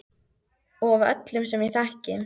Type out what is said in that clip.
Og af öllum sem ég þekki.